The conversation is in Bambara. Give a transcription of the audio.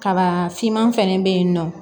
Kaba finman fɛnɛ be yen nɔ